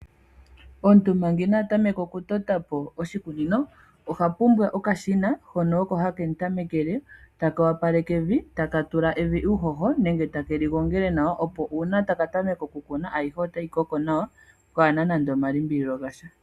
Omuntu manga ina tameka oku totapo oshikunino oha pumbwa okashina hono oko hakemu tamekele taka wapaleke evi taka tula evi uuhoho nenge takeli gongele nawa opo uuna taka tameka oku kuna ayihe otayi koko nawa pwaana nando omalimbililo gasha.